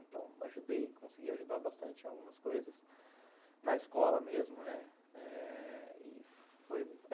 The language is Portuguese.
Então, ajudei, consegui ajudar bastante em algumas coisas, na escola mesmo, né, eh... foi